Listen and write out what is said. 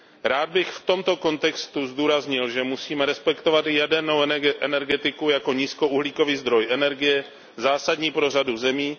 Rád bych v tomto kontextu zdůraznil, že musíme respektovat i jadernou energetiku jako nízkouhlíkový zdroj energie zásadní pro řadu zemí.